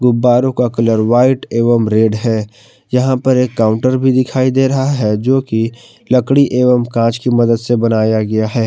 गुब्बारों का colour white एवं रेड हैं यहां पर एक काउंटर भी दिखाई दे रहा हैं जो की लकड़ी एवं कॉच की मदद से बनाया गया हैं।